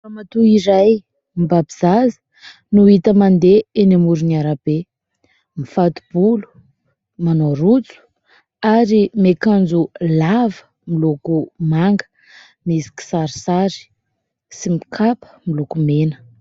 Ramatoa iray mibaby zaza no hita mandeha eny amoron'ny arabe, mifato-bolo, manao rojo ary miakanjo lava miloko manga, misy kisarisary sy mikapa miloko mena.